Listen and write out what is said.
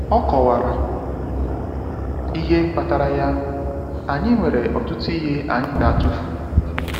O kọwara ihe kpatara ya: “Anyị nwere ọtụtụ ihe anyị ga-atụfu.